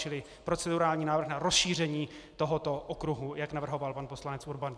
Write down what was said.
Čili procedurální návrh na rozšíření tohoto okruhu, jak navrhoval pan poslanec Urban.